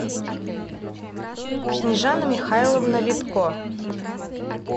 снежана михайловна витко